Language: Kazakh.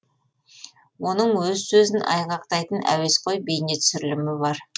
оның өз сөзін айғақтайтын әуесқой бейнетүсірілімі бар